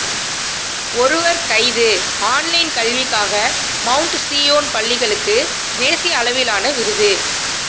ஒருவர் கைது ஆன்லைன் கல்விக்காக மவுண்ட் சீயோன் பள்ளிகளுக்கு தேசிய அளவிலான விருது